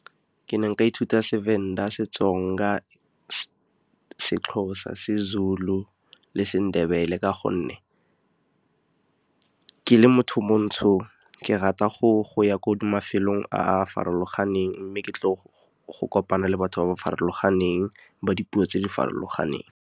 Ke ne nka ithuta seVenda, seTsonga, seXhosa, seZulu le seNdebele, ka gonne ke le motho montsho, ke rata go ya ko mafelong a farologaneng, mme ke tle go kopana le batho ba ba farologaneng ba dipuo tse di farologaneng.